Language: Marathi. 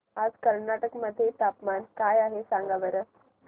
आज कर्नाटक मध्ये तापमान काय आहे सांगा बरं